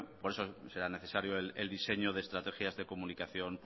por eso será necesario el diseño de estrategia de comunicación